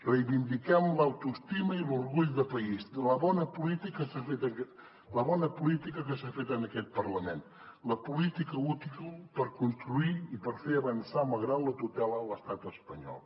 reivindiquem l’autoestima i l’orgull de país la bona política que s’ha fet en aquest parlament la política útil per construir i per fer avançar malgrat la tutela de l’estat espanyol